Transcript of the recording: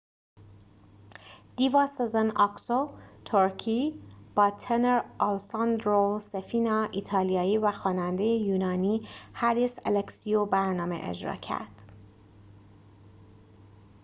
دیوا سزن آکسو ترکی با تنر آلساندرو سفینا ایتالیایی و خواننده یونانی هریس الکسیو برنامه اجرا کرد